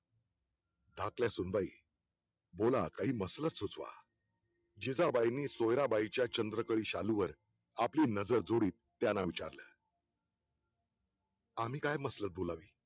धाकट्या सुनबाई बोला काही मसलत सुचवा जिजाबाईंनी सोयराबाईंच्या चंद्रकले शालू वर आपली नजर जोडीत त्यांना विचारले आम्ही काय मसलत बोलावे